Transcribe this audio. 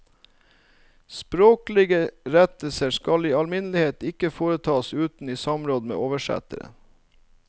Språklige rettelser skal i alminnelighet ikke foretas uten i samråd med oversetteren.